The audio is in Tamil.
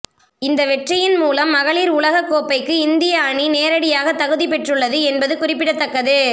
இந்த வெற்றியின் மூலம் மகளிர் உலகக் கோப்பைக்கு இந்திய அணி நேரடியாக தகுதி பெற்றுள்ளது என்பது குறிப்பிடத்தக்கது